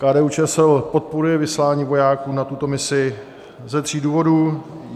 KDU-ČSL podporuje vyslání vojáků na tuto misi ze tří důvodů.